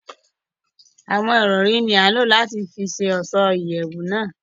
Awọn irọri jabọ ni a lo lati fí ṣe ọṣọ iyẹwu náà